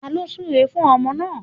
Taló súre fún ọmọ náà